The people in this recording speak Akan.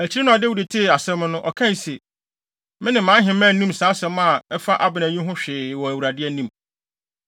Akyiri no a Dawid tee asɛm no, ɔkae se, “Me ne mʼaheman nnim saa asɛm a ɛfa Abner yi ho hwee wɔ Awurade anim.